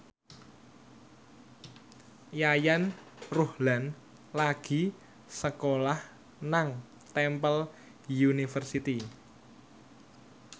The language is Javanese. Yayan Ruhlan lagi sekolah nang Temple University